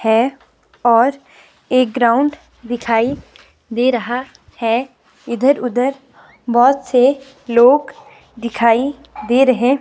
है और एक ग्राउंड दिखाई दे रहा है इधर-उधर बहुत से लोग दिखाई दे रहे --